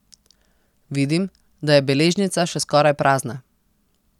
Vidim, da je beležnica še skoraj prazna.